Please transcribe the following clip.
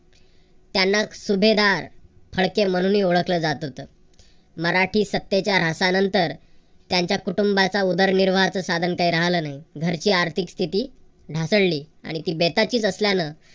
त्यांना सुभेदार फळके म्हणूनही ओळखलं जात होतं. मराठी सत्तेच्या ऱ्हासानंतर त्यांच्या कुटुंबाच्या उदरनिर्वाहाच साधन काही राहिलं नाही. घरची आर्थिक स्थिती ढासळली. आणि ती बेताचीच असल्यान